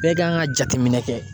Bɛɛ kan ka jateminɛ kɛ